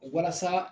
Walasa